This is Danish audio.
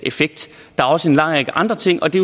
effekt der er også en lang række andre ting og det